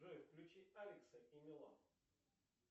джой включи алекса и милану